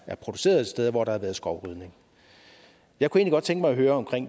produceret et sted hvor der har været skovrydning jeg kunne godt tænke mig at høre om